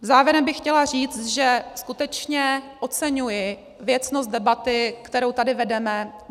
Závěrem bych chtěla říct, že skutečně oceňuji věcnost debaty, kterou tady vedeme.